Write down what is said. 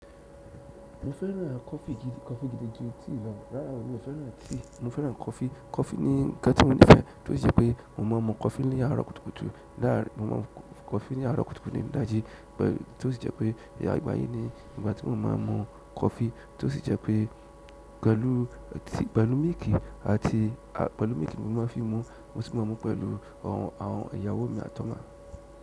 Mo fẹ́ràn coffee gidi, coffee gidi ju tea lọ. Rárá o, mi ò fẹ́ràn tea, mo fẹ́ràn coffee. Coffee ni nǹkan tí mo nífẹ̀ẹ́ tí ó sì jẹ́ pé mo máa ń mu coffee ní àárọ̀ kùtùkùtù ní idaji tí ó sì jẹ́ pé ìgbà yìí ni ìgbà tí mo máa ń mu coffee tí ó sì jẹ́ pé pẹ̀lú mílìkì àti pẹ̀lú mílìkì mo máa n fi mu, mo sì máa ń mu pẹ̀lú àwọn ìyàwó mi àti ọmọ.